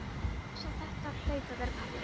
Ég vissi að þetta hlaut að vera pabbi.